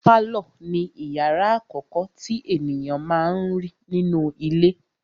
Pálọ̀ ni ìyàrá àkọ́kọ́ tí ènìyàn má n rí nínú ilé.